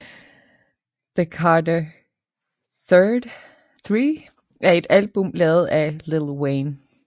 Tha Carter III er et album lavet af Lil Wayne